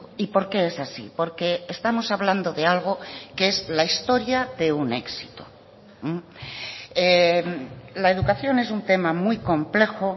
y por qué es así porque estamos hablando de algo que es la historia de un éxito la educación es un tema muy complejo